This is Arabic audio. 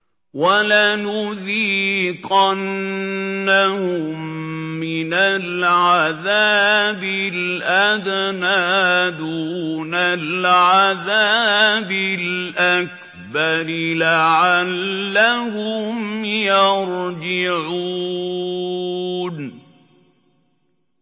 وَلَنُذِيقَنَّهُم مِّنَ الْعَذَابِ الْأَدْنَىٰ دُونَ الْعَذَابِ الْأَكْبَرِ لَعَلَّهُمْ يَرْجِعُونَ